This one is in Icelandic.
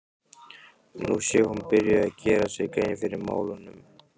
Nú sé hún byrjuð að gera sér grein fyrir málunum.